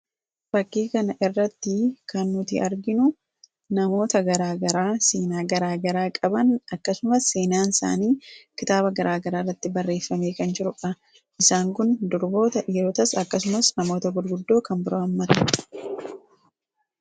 Fakkii kana irratti kan nuti arginu namoota garaa garaa seenaa garaa garaa qaban, akkasumas seenaan isaanii kitaaba garaa garaa irratti barreeffamee kan jirudha. Isaan kunis dubartootaa fi dhiirota namoota gurguddoo of keessatti qabatee jira.